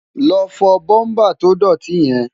lọ fọ búmbà tó dọ̀tí yẹn!